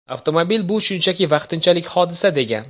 Avtomobil bu shunchaki vaqtinchalik hodisa”, degan.